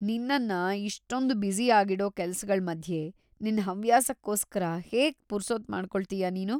ನಿನ್ನನ್ನ ಇಷ್ಟೊಂದ್‌ ಬ್ಯುಸಿ ಆಗಿಡೋ ಕೆಲ್ಸಗಳ್‌ ಮಧ್ಯೆ ನಿನ್ ಹವ್ಯಾಸಕ್ಕೋಸ್ಕರ ಹೇಗ್ ಪುರ್ಸೊತ್ ಮಾಡ್ಕೊಳ್ತೀಯಾ‌ ನೀನು?